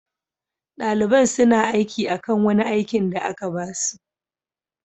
Dalibain suna aiki akan wani aikin da aka ba su.